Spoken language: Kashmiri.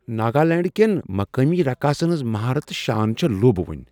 ناگالینڈس کین مقامی رقاصن ہنٛز مہارت تہٕ شان چھ لُوبونۍ۔